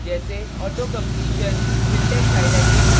auto completion syntax highlighting error dialog box और